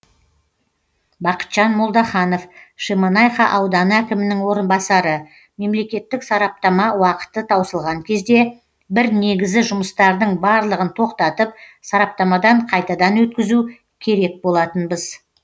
бақытжан молдаханов шемонайха ауданы әкімінің орынбасары мемлекеттік сараптама уақыты таусылған кезде біз негізі жұмыстардың барлығын тоқтатып сараптамадан қайтадан өткізу керек болатынбыз